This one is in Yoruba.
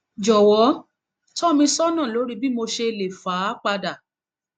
jọwọ tọ mi sọnà lórí bí mo ṣe lè fà á padà